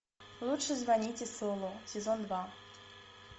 лучше звоните солу сезон два